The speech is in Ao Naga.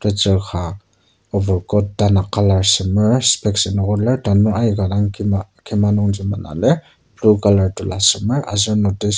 tetsur ka over coat tanak colour semer specs inoker lir tanur aika dang kima kima nungji mena lir blue colour tola semer aser notice .